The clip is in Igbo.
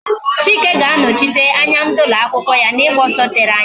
Chike ga-anọchite anya ndị ụlọ akwụkwọ ya n'ịgba ọsọ tere anya